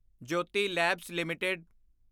Jyoti labs LTD